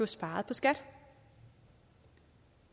sparet på skat